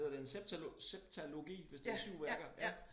Hedder det en septa septologi hvis det 7 værker ja